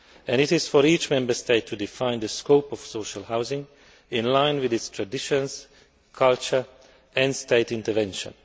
It is for each Member State to define the scope of social housing in line with its traditions, culture and state intervention.